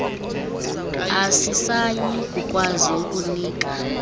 asisayi kukwazi ukunika